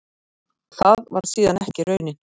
Það varð síðan ekki raunin.